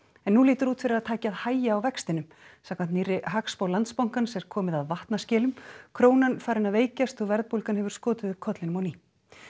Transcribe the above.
en nú lítur út fyrir að taki að hægja á vextinum samkvæmt nýrri hagspá Landsbankans er komið að vatnaskilum krónan farin að veikjast og verðbólgan hefur skotið upp kollinum á ný